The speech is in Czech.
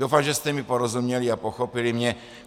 Doufám, že jste mi porozuměli a pochopili mě.